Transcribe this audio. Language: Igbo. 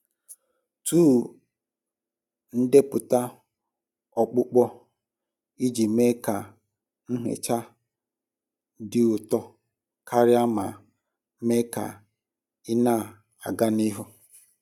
Tọọ ndepụta ọkpụkpọ iji mee ka nhicha dị ụtọ karịa ma mee ka ị na-aga n'ihu.